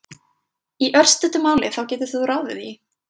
Í örstuttu máli þá getur þú ráðið því!